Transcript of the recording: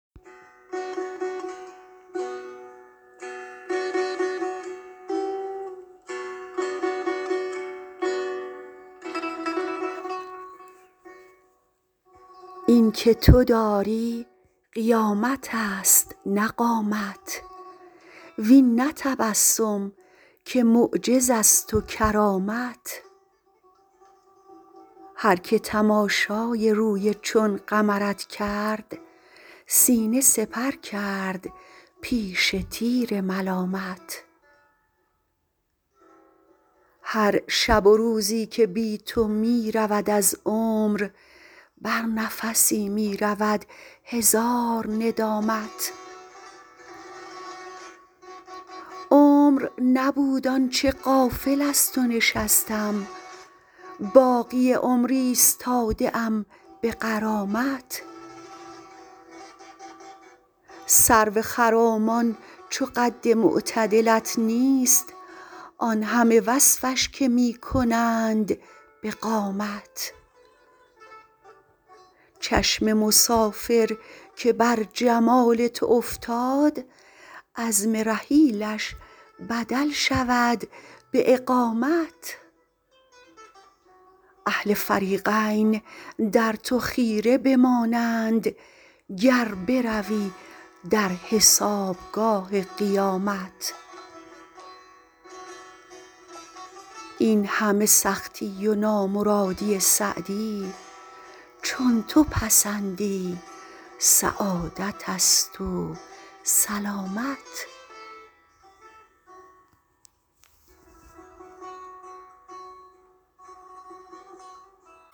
این که تو داری قیامت است نه قامت وین نه تبسم که معجز است و کرامت هر که تماشای روی چون قمرت کرد سینه سپر کرد پیش تیر ملامت هر شب و روزی که بی تو می رود از عمر بر نفسی می رود هزار ندامت عمر نبود آن چه غافل از تو نشستم باقی عمر ایستاده ام به غرامت سرو خرامان چو قد معتدلت نیست آن همه وصفش که می کنند به قامت چشم مسافر که بر جمال تو افتاد عزم رحیلش بدل شود به اقامت اهل فریقین در تو خیره بمانند گر بروی در حسابگاه قیامت این همه سختی و نامرادی سعدی چون تو پسندی سعادت است و سلامت